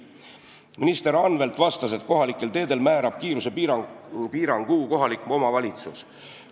Minister Anvelt vastas, et kohalikel teedel määrab kiirusepiirangu kohalik omavalitsus.